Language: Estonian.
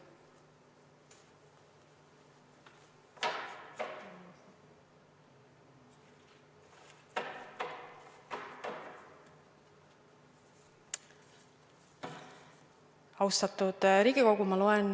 Austatud Riigikogu!